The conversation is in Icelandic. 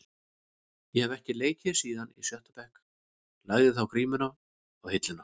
Ég hef ekki leikið síðan í sjötta bekk, lagði þá grímuna á hilluna.